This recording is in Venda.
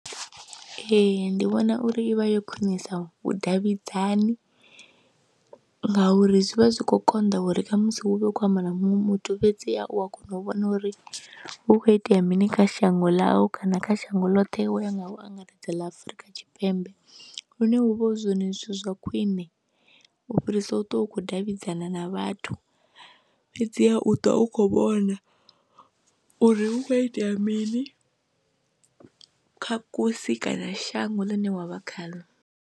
Ee, ndi vhona uri i vha yo khwinisa vhudavhidzani ngauri zwi vha zwi khou konḓa uri khamusi hu vhe hu khou amba na muṅwe muthu fhedziha u a kona u vhona uri hu khou itea mini kha shango ḽau kana kha shango ḽoṱhe wo ya nga u angaredza ḽa Afrika Tshipembe lune hu vha hu zwone zwithu zwa khwiṋe u fhirisa u ṱwa u khou davhidzana na vhathu fhedziha u ṱwa u khou vhona uri hu khou itea mini kha kusi kana shango ḽine wa vha khaḽo.